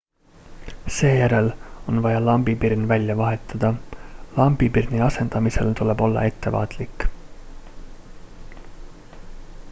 seejärel on vaja lambipirn välja vahetada lambipirni asendamisel tuleb olla ettevaatlik